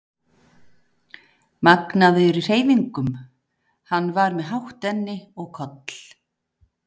magnaður í hreyfingum, hann var með hátt enni og koll